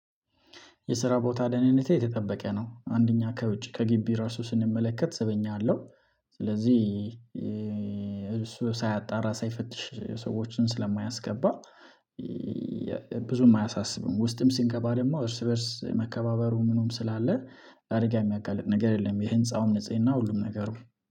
የስራ ቦታ ደህንነቴ የተጠበቀ ነው አንደኛ ከውጭ ከግቢ ራሱ ስንመለከት ስበኛ አለው ስለዚህ እሱ ሳያጣራ ሳይፈትሽ ሰዎችን ስለማያስገባ። ብዙም አያሳስብም ውስጥም ሲንገባ ደግሞ እርስ በእርስ መከባበሩ ምኑም ስላለ አደጋ የሚያጋልጥ ነገር የለም የህንፃውም ንጽህና ሁሉም ነገሩ